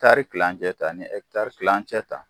Kari kilancɛ ta n'i ɛkitari kilancɛ ta